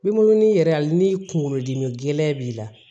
Min munu yɛrɛ a ni kunkolodimi gɛlɛn b'i la